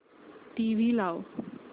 TV लाव